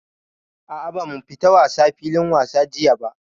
A'a ba mu fita wasa filin wasa jiya ba.